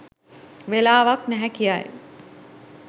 වෙලාවක් නැහැ කියයි